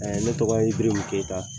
Ne tɔgɔ ye Ibirimun Kɛyita